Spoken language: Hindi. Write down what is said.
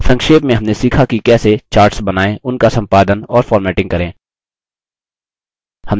संक्षेप में हमने सीखा कि कैसे: charts बनाएँ उनका सम्पादन और फ़ॉर्मेटिंग करें